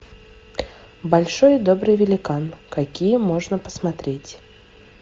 большой и добрый великан какие можно посмотреть